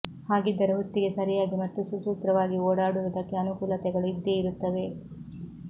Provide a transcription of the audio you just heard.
ಹಾಗಿದ್ದರೂ ಹೊತ್ತಿಗೆ ಸರಿಯಾಗಿ ಮತ್ತು ಸುಸೂತ್ರವಾಗಿ ಓಡಾಡುವುದಕ್ಕೆ ಅನುಕೂಲತೆಗಳು ಇದ್ದೇ ಇರುತ್ತವೆ